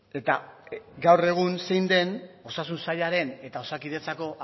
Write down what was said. eta gaur egun zein den osasun sailaren eta osakidetzako